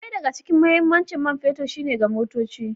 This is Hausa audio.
Ɗaya daga cikin mahimmancin man fetur shine ga motoci.